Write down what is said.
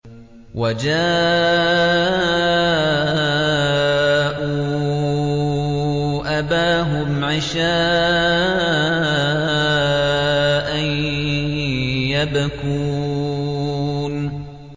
وَجَاءُوا أَبَاهُمْ عِشَاءً يَبْكُونَ